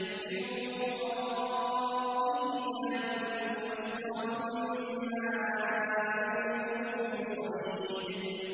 مِّن وَرَائِهِ جَهَنَّمُ وَيُسْقَىٰ مِن مَّاءٍ صَدِيدٍ